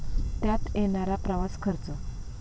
त्यात येणारा प्रवास खर्च.